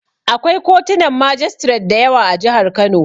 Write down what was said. Akwai kotunan majistiret da yawa a jihar Kano.